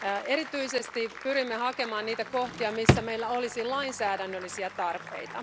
Erityisesti pyrimme hakemaan niitä kohtia, missä meillä olisi lainsäädännöllisiä tarpeita.